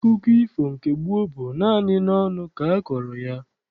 Akụkọ ifo nke gboo bụ naanị n'ọnụ ka akọrọ ya.